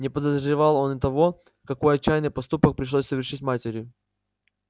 не подозревал он и того какой отчаянный поступок пришлось совершить матери